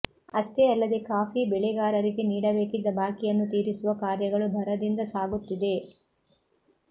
ಅಷ್ಟೆ ಅಲ್ಲದೆ ಕಾಫಿ ಬೆಳೆಗಾರರಿಗೆ ನೀಡಬೇಕಿದ್ದ ಬಾಕಿಯನ್ನು ತೀರಿಸುವ ಕಾರ್ಯಗಳು ಭರದಿಂದ ಸಾಗುತ್ತಿದೆ